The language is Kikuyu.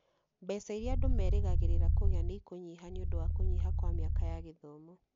Mbeca iria andũ merĩgagĩrĩra kũgĩa nĩ ikũnyiha nĩ ũndũ wa kũnyiha kwa mĩaka ya gĩthomo.